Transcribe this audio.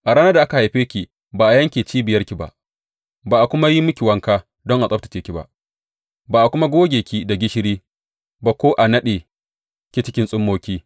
A ranar da aka haife ki ba a yanke cibiyarki ba, ba a kuma yi miki wanka don a tsabtacce ki ba, ba a kuma goge ki da gishiri ba ko a naɗe ki cikin tsummoki.